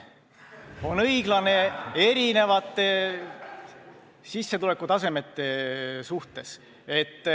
Ta on õiglane erinevate sissetulekutasemete suhtes.